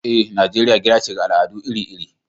Eh, Nijeriya gida ce ga al’adu iri-iri.